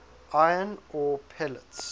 iron ore pellets